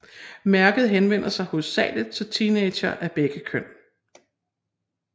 Mærket henvender sig hovedsageligt til teenagere af begge køn